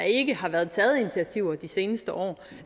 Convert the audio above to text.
ikke har været taget initiativer de seneste år